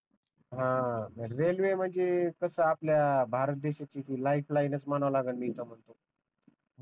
ह रेलवे म्हणजे कस आपल्या भारत देश्याची ती लाईफ लाईन च मानावं लागल मी त म्हणतो